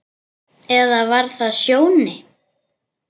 Eða var það Sjóni?